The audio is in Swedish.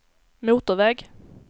motorväg